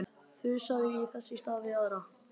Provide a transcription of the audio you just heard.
Þusaði þess í stað við aðra.